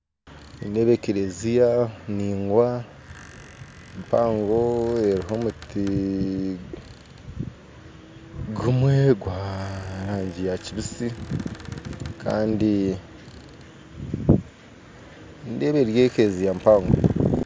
Nindeeba ekereziya ndaingwa mpango eriho omuti gumwe gwa rangi yakibiisi kandi nindeeba eri ekereziya mpango